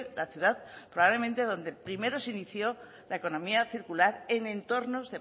la ciudad probablemente donde primero se inició la economía circular en entornos